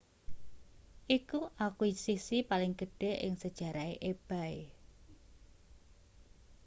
iku akuisisi paling gedhe ing sejarahe ebay